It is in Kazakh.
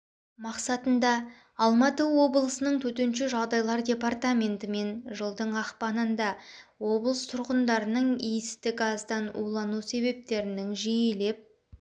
мақсатында алматы облысының төтенше жағдайлар департаментімен жылдың ақпанында облыс тұрғындарының иісті газдан улану себептерінің жиілеп